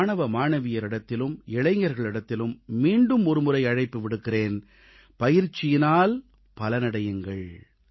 நான் மாணவ மாணவியரிடத்திலும் இளைஞர்களிடத்திலும் மீண்டும் ஒருமுறை அழைப்பு விடுக்கிறேன் பயிற்சியினால் பலனடையுங்கள்